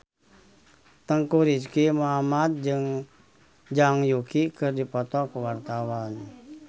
Teuku Rizky Muhammad jeung Zhang Yuqi keur dipoto ku wartawan